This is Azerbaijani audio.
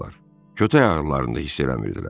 Kötək ağrılarını da hiss eləmirdilər.